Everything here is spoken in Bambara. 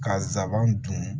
Ka zaban dun